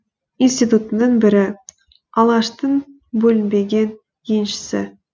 институтының бірі алаштың бөлінбеген еншісі